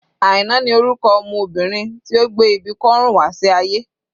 Aina ni orúkọ ọmọ Obìnrin tí ó gbé ibi kọ́rùn wá sí ayé.